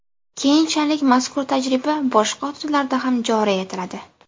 Keyinchalik mazkur tajriba boshqa hududlarda ham joriy etiladi.